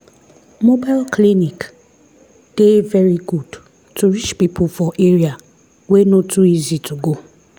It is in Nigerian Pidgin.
mobile clinic dey very good to reach people for area wey no too easy to go.